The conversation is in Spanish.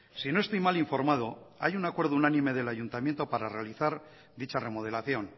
si no estoy mal informado hay un acuerdo unánime del ayuntamiento para realizar dicha remodelación